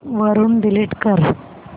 वरून डिलीट कर